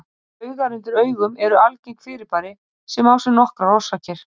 Baugar undir augum eru algengt fyrirbæri sem á sér nokkrar orsakir.